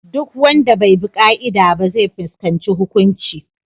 Duk wanda bai bi ƙa’ida ba zai fuskanci hukunci.